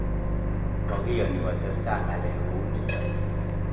Makiyani kotesta ngalek kouniton.